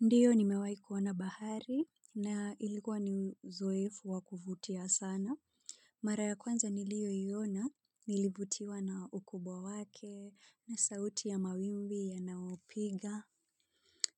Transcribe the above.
Ndiyo nimewai kuwana bahari na ilikuwa ni uzoefu wakuvutia sana. Mara ya kwanza nilio iona, nilivutiwa na ukubwa wake, na sauti ya mawimbi, yanaopiga.